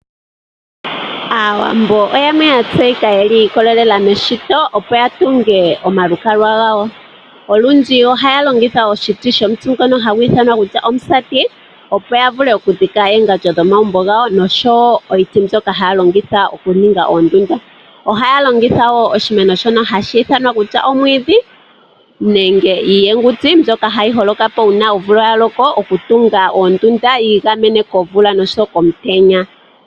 Aawambo oyo aantu mboka ya tseyika yi ikololela meshito opo ya tunge omalukalwa gawo. Olundji ohaya longitha iiti yomusati opo ya vule okudhika oongandjo dhomagumbo gawo, noshowo iiti mbyoka haya longitha okuninga oondunda. Ohaya longitha wo omwiidhi nenge iihenguti mbyoka hayi holokapo uuna omvula ya loko, okutunga oondunda opo yi igamene komvula osho wo komutenya.